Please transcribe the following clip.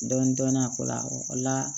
Dɔɔnin dɔɔnin a o la o la